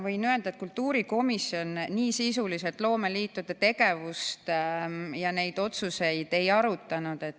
Võin öelda, et kultuurikomisjon nii sisuliselt loomeliitude tegevust ja neid otsuseid ei arutanud.